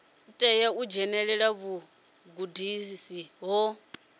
tea u dzhenelela vhugudisi ho